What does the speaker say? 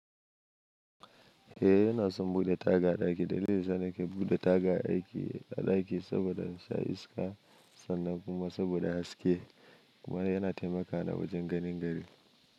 Eh ina son bude taga a ɗaki. Dalilin da yasa na ke bude taga a ɗaki saboda in sha iska. Sannan kuma saboda haske kuma yana taimaka na wajen ganin gari.